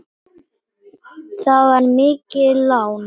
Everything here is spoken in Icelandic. Það var mikið lán.